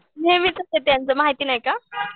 नेहमीच आहे त्यांचं माहिती नाही का?